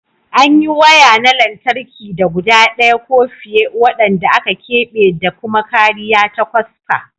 An yi waya na lantarki da guda ɗaya ko fiye waɗanda aka keɓe da kuma kariya ta kwasfa.